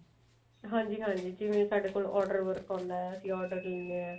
ਹਾਂਜੀ ਹਾਂਜੀ ਜਿਵੇਂ ਸਾਡੇ ਕੋਲ order work ਆਉਂਦਾ ਅਸੀਂ order ਦਿੰਨੇ ਆ